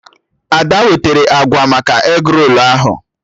Ada wetara akwa maka egrolu ahụ